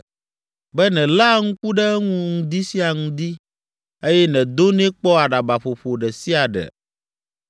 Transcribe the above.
be nèléa ŋku ɖe eŋu ŋdi sia ŋdi eye nèdonɛ kpɔ aɖabaƒoƒo ɖe sia ɖe?